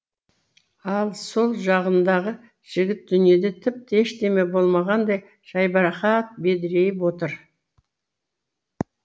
ал сол жағындағы жігіт дүниеде тіпті ештеме болмағандай жайбарақат бедірейіп отыр